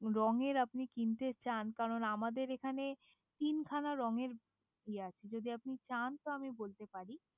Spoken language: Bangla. রঙের আপনি কিনতে চান? কারণ আমাদের এখানে তিনখানা রঙের ইয়ে আছে, যদি আপনি চান তো আমি বলতে পারি